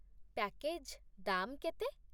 Package ଦାମ୍ କେତେ?